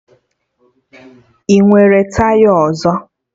Ị nwere taya ọzọ?